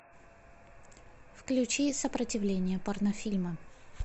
включи сопротивление порнофильмы